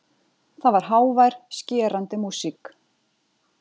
Það var hávær, skerandi músík.